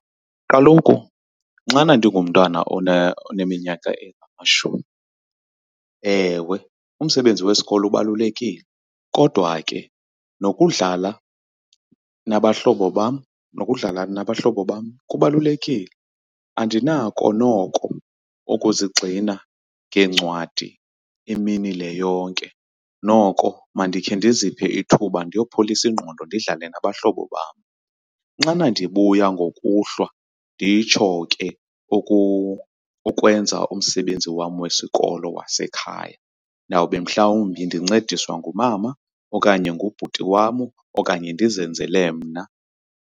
Kaloku xana ndigumntwana oneminyaka engamashumi, ewe umsebenzi wesikolo ubalulekile kodwa ke nokudlala nabahlobo bam, nokudlala nabahlobo bam kubalulekile. Andinako noko ukuzigxina ngencwadi imini le yonke, noko mandikhe ndiziphe ithuba ndiyopholisa ingqondo ndidlale nabahlobo bam. Nxana ndibuya ngokuhlwa nditsho ke ukwenza umsebenzi wam wesikolo wasekhaya, ndawube mhlawumbi ndincediswa ngumama okanye ngubhuti wam okanye ndizenzele mna.